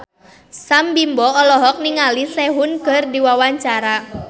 Sam Bimbo olohok ningali Sehun keur diwawancara